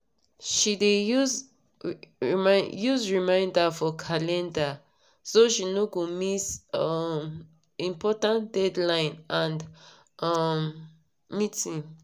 she dey use reminder for calender so she no go miss um important deadline and um meeting